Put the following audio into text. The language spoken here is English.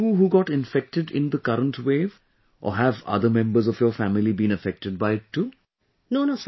Is it just you who got infected in the current wave or have other members of your family been affected by it too